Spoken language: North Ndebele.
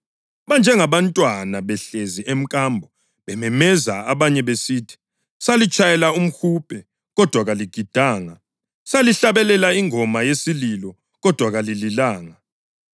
Banjengabantwana behlezi emkambo bememeza abanye besithi: ‘Salitshayela umhubhe, kodwa kaligidanga, salihlabelela ingoma yesililo, kodwa kalililanga.’